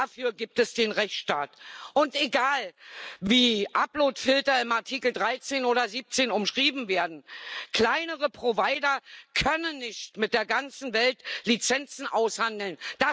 dafür gibt es den Rechtsstaat. Und egal, wie Uploadfilter in Artikel 13 oder 17 umschrieben werden kleinere Provider können nicht mit der ganzen Welt Lizenzen aushandeln.